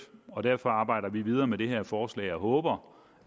og derfor arbejder vi videre med det her forslag og håber